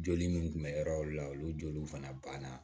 Joli min tun bɛ yɔrɔ o yɔrɔ la olu joli fana banna